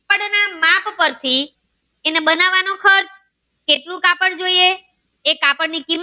માપ પરથી એના બનવાનો ખર્ચ કેટલું કાપડ જોઈએ એ કાપડ ની કિમત